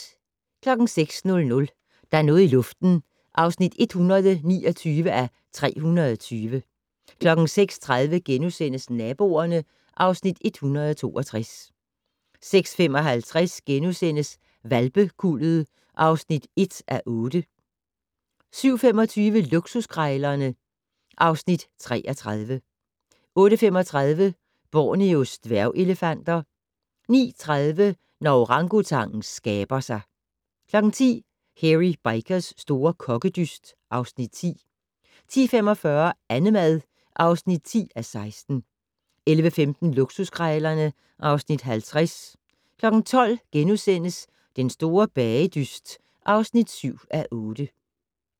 06:00: Der er noget i luften (129:320) 06:30: Naboerne (Afs. 162)* 06:55: Hvalpekuldet (1:8) 07:25: Luksuskrejlerne (Afs. 33) 08:35: Borneos dværgelefanter 09:30: Når orangutangen skaber sig 10:00: Hairy Bikers' store kokkedyst (Afs. 10) 10:45: Annemad (10:16) 11:15: Luksuskrejlerne (Afs. 50) 12:00: Den store bagedyst (7:8)*